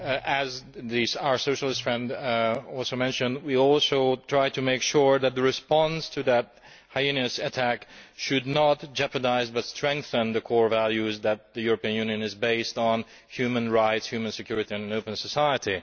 As our Socialist friend also mentioned, we should also try to make sure that the response to that heinous attack should not jeopardise but strengthen the core values that the European Union is based on human rights, human security and an open society.